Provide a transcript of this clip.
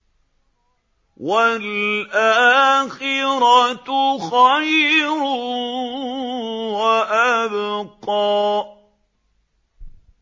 وَالْآخِرَةُ خَيْرٌ وَأَبْقَىٰ